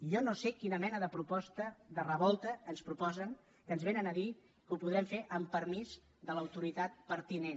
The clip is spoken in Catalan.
jo no sé quina mena de revolta ens proposen que ens vénen a dir que ho podrem fer amb permís de l’autoritat pertinent